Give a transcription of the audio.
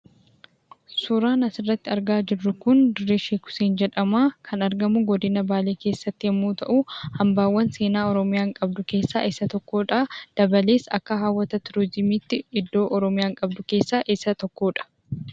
Suuraan asirratti argaa jirru kun dirree sheek Huseen jedhamaa. Kan argamu godina baalee yoo ta'u, hambaawwan oromiyaan qabdu keessaa isa tokkodha. Dabalees akka hawwata turizimiitti iddoo oromiyaan qabdu keessaa isa tokkodha.